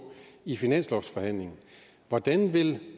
i finanslovsforhandlingerne hvordan vil